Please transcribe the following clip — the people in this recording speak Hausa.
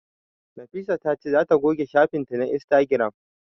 Nafisa ta ce za ta goge shafin ta na Instagram